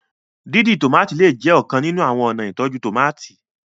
dídì tomati lẹẹ tí jé ọkan nínú àwọn ọna ìtọjú tomati